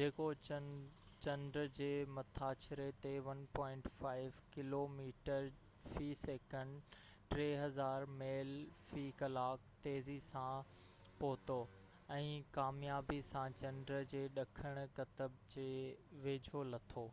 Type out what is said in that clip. جيڪو چنڊ جي مٿاڇري تي 1.5 ڪلوميٽر في سيڪنڊ 3000 ميل في ڪلاڪ تيزي سان پهتو، ۽ ڪاميابي سان چنڊ جي ڏکڻ قطب جي ويجهو لٿو